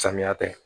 Samiya tɛ